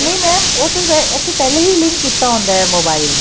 ਨਹੀਂ mam ਉਹ ਅਸੀਂ ਪਹਿਲਾਂ ਹੀ link ਕੀਤਾ ਹੁੰਦਾ mobile